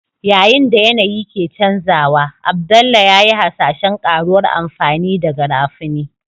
Yayin da yanayi ke canjawa, Abdullah ya yi hasashen ƙaruwar amfani da Garafuni.